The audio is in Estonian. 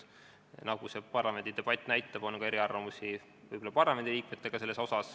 Nagu see parlamendidebatt näitab, on eriarvamusi võib-olla ka parlamendiliikmetel.